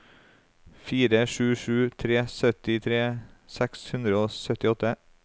fire sju sju tre syttitre seks hundre og syttiåtte